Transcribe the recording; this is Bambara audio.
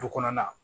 Du kɔnɔna